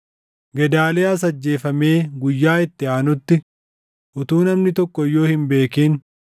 Gedaaliyaas ajjeefamee guyyaa itti aanutti utuu namni tokko iyyuu hin beekin,